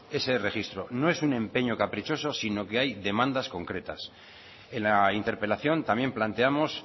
ese registro no es un empeño caprichoso sino que hay demandas concretas en la interpelación también planteamos